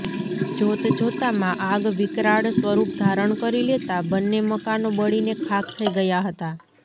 જોત જોતામાં આગ વિકરાળ સ્વરૂપ ધારણ કરી લેતા બંને મકાનો બળીને ખાક થઈ ગયા હતા